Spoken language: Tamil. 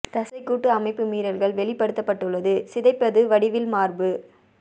தசைக்கூட்டு அமைப்பு மீறல்கள் வெளிப்படுத்தப்பட்டுள்ளது சிதைப்பது வடிவில் மார்பு